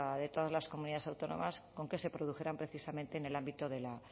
de todas las comunidades autónomas con que se produjeran precisamente en el ámbito de la